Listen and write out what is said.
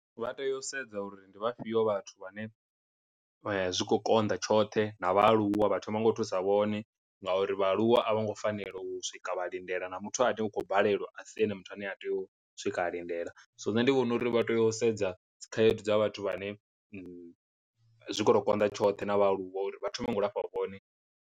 Vha tea u sedza uri ndi vhafhio vhathu vhane vha zwi khou konḓa tshoṱhe na vhaaluwa vha thoma ngo u thusa vhone ngauri vhaaluwa a vho ngo fanela u swika vha lindela na muthu ane u khou balelwa a si ane muthu ane a tea u swika a lindela, so nṋe ndi vhona uri vha tea u sedza dzikhaedu dza vhathu vhane zwi kho to konḓa tshoṱhe na vhaaluwa uri vha thome nga u lafha vhone.